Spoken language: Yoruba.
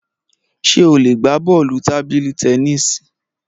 Ṣé o lè gbá bọ́ọ̀lù tábìlì tennis